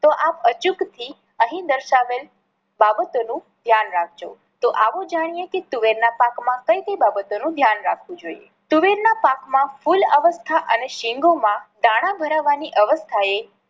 તો આપ અચૂક થી અહી દર્શાવેલ બાબતો નું ધ્યાન રાખજો. તો આવો જાણીએ કે તુવેર ના પાક માં કઈ કઈ બાબતો નું ધ્યાન રાખવું જોઈએ. તુવેર ના પાક માં ફુલ અવસ્થા અને સિંગોમાં દાણા ભરાવાની અવસ્થા એ